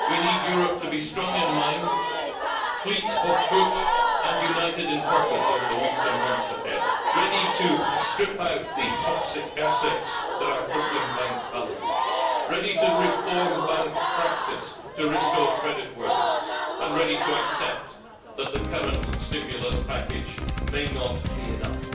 We need Europe to be strong in mind, fleet of foot and united in purpose over the weeks and months ahead, ready to strip out the toxic assets that are crippling bank balances, ready to reform bank practice to restore creditworthiness, and ready to accept that the current stimulus package may not be enough,